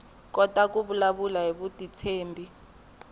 kota ku vulavula hi vutitshembi